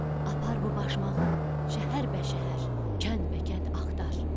Apar bu başmağı şəhər bəşəhər, kənd bəkənd axtar.